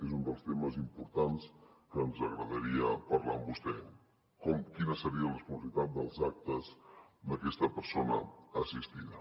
és un dels temes importants que ens agradaria parlar amb vostè quina seria la responsabilitat dels actes d’aquesta persona assistida